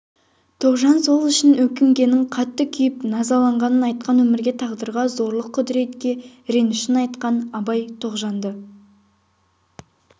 тоғжан сол үшін өкінгенін қатты күйіп назаланғанын айтқан өмірге тағдырға зорлық құдіретке ренішін айтқан абай тоғжанды